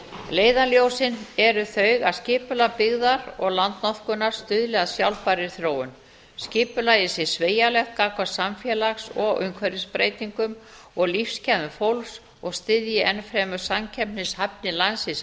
leiðarljósin eru þau að skipulag byggðar og landnotkunar stuðli að sjálfbærri þróun skipulagið sé sveigjanlegt gagnvart samfélags og umhverfisbreytingum og lífsgæðum fólks og styðji enn fremur samkeppnishæfni landsins